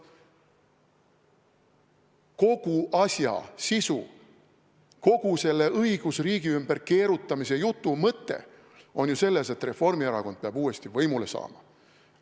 Kogu asja sisu, kogu selle õigusriigi ümber keerutamise jutu mõte on ju selles, et Reformierakond peab uuesti võimule saama.